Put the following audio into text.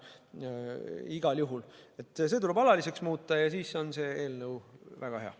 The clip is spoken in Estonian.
Igal juhul see tuleb alaliseks muuta ja siis on see eelnõu väga hea.